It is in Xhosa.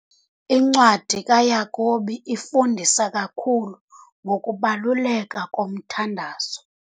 Incwadi kaYakobi ifundisa kakhulu ngokubaluleka komthandazo.